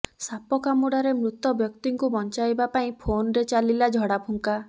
ସାପ କାମୁଡାରେ ମୃତ ବ୍ୟକ୍ତିଙ୍କୁ ବଞ୍ଚାଇବା ପାଇଁ ଫୋନରେ ଚାଲିଲା ଝଡାଫୁଙ୍କା